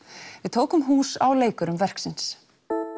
tók hús á leikurum verksins